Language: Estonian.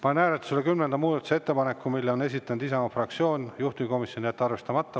Panen hääletusele kümnenda muudatusettepaneku, mille on esitanud Isamaa fraktsioon, juhtivkomisjon: jätta arvestamata.